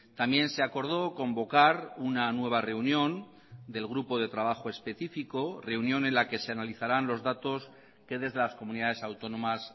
también se acordó convocar una nueva reunión del grupo de trabajo específico reunión en la que se analizarán los datos que desde las comunidades autónomas